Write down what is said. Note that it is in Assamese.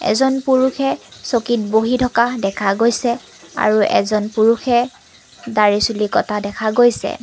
এজন পুৰুষে চকীত বহি থকা দেখা গৈছে আৰু এজন পুৰুষে দাড়ি চুলি কটা দেখা গৈছে।